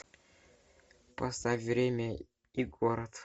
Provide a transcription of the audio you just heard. поставь время и город